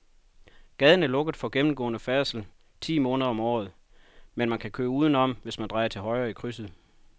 Gaden er lukket for gennemgående færdsel ti måneder om året, men man kan køre udenom, hvis man drejer til højre i krydset.